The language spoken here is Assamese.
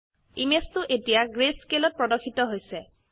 ইমেজ 2 এতিয়া greyscaleত প্রদর্শিত হৈছে